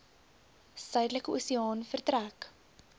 suidelike oseaan vertrek